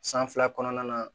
San fila kɔnɔna na